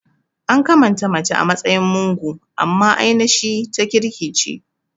An kamanta mace a matsayin mugo amma ainashi ta kirki ce